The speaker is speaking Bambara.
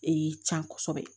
Ee can kosɛbɛ